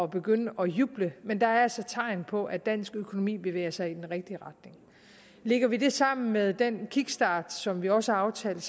begynde at juble men der er altså tegn på at dansk økonomi bevæger sig i den rigtige retning lægger vi det sammen med den kickstart som vi også har aftalt